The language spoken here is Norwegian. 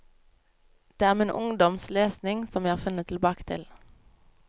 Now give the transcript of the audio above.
Det er min ungdoms lesning som jeg har funnet tilbake til.